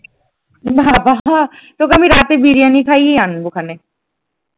বাবা তোকে আমি রাতে বিরিয়ানি খাইয়ে আনবো ওখানে।